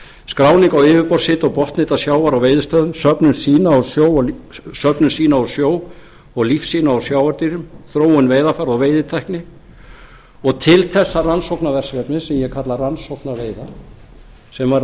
skráning á yfirborðshita og botnhita sjávar á veiðistöðum söfnun sýna úr sjó og lífsýna úr sjávardýrum þróun veiðarfæra og veiðitækni til þessa rannsóknarverkefnis sem ég kalla rannsókna veiðar sem verða stundaðar